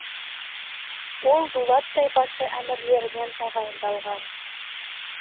ол дулат тайпасы әмірлерінен тағайындалған